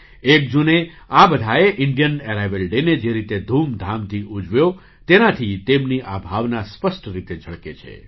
એક જૂને આ બધાએ ઇન્ડિયન એરાઇવલ ડેને જે રીતે ધૂમધામથી ઉજવ્યો તેનાથી તેમની આ ભાવના સ્પષ્ટ રીતે ઝળકે છે